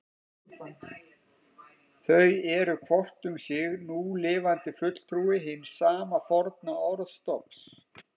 Þau eru hvort um sig núlifandi fulltrúi hins sama forna orðstofns.